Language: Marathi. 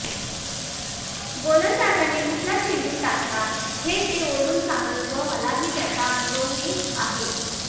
गोलंदाजाने कुठला चेंडू टाकला हे ते ओरडून सांगत व मला त्याचा अनुभवही आहे